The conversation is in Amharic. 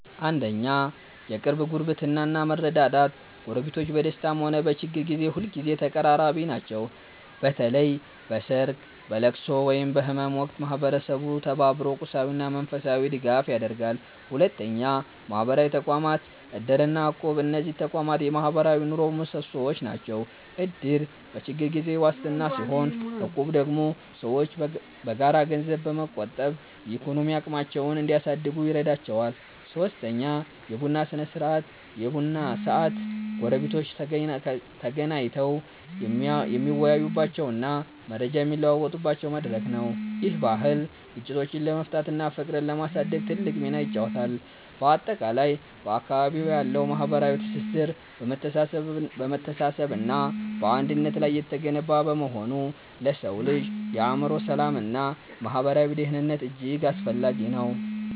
1. የቅርብ ጉርብትና እና መረዳዳት ጎረቤቶች በደስታም ሆነ በችግር ጊዜ ሁልጊዜ ተቀራራቢ ናቸው። በተለይ በሰርግ፣ በልቅሶ ወይም በህመም ወቅት ማህበረሰቡ ተባብሮ ቁሳዊና መንፈሳዊ ድጋፍ ያደርጋል። 2. ማህበራዊ ተቋማት (እድር እና እቁብ) እነዚህ ተቋማት የማህበራዊ ኑሮው ምሰሶዎች ናቸው። እድር በችግር ጊዜ ዋስትና ሲሆን፣ እቁብ ደግሞ ሰዎች በጋራ ገንዘብ በመቆጠብ የኢኮኖሚ አቅማቸውን እንዲያሳድጉ ይረዳቸዋል። 3. የቡና ስነ-ስርዓት የቡና ሰዓት ጎረቤቶች ተገናኝተው የሚወያዩበትና መረጃ የሚለዋወጡበት መድረክ ነው። ይህ ባህል ግጭቶችን ለመፍታትና ፍቅርን ለማሳደግ ትልቅ ሚና ይጫወታል። ባጠቃላይ፣ በአካባቢዎ ያለው ማህበራዊ ትስስር በመተሳሰብና በአንድነት ላይ የተገነባ በመሆኑ ለሰው ልጅ የአእምሮ ሰላምና ማህበራዊ ደህንነት እጅግ አስፈላጊ ነው።